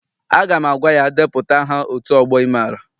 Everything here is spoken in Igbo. Aga m agwa ya, depụta aha otu ọgbọ ị maara!